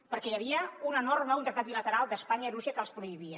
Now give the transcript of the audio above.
perquè hi havia una norma un tractat bilateral d’espanya i rússia que els prohibia